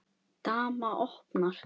Dama opnar.